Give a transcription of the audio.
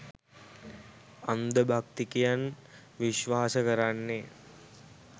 අන්ධ භක්තිකයන් විශ්වාස කරන්නේ